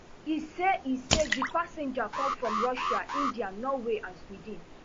e say e say di passengers come from russia india norway and sweden